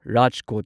Rajkot